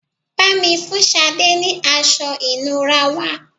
Bá mi fun Sade ni aṣọ ìnura wá